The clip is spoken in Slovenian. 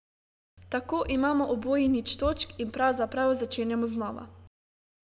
Tako imamo oboji nič točk in pravzaprav začenjamo znova.